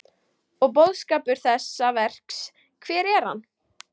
Og boðskapur þessa verks, hver er hann?